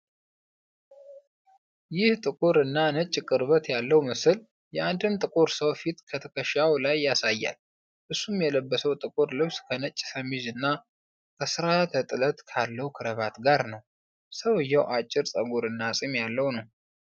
ይህ ጥቁር እና ነጭ ቅርበት ያለው ምስል የአንድን ጥቁር ሰው ፊት ከትከሻው በላይ ያሳያል። እሱም የለበሰው ጥቁር ልብስ ከነጭ ሸሚዝ እና ከስርዓተ-ጥለት ካለው ክራባት ጋር ነው። ሰውየው አጭር ጸጉርና ፂም ያለው ነው ።